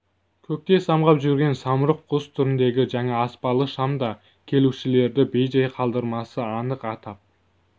көкте самғап жүрген самұрық құс түріндегі жаңа аспалы шам да келушілерді бей-жай қалдырмасы анық атап